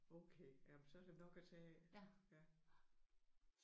Okay jamen så er der nok at tage af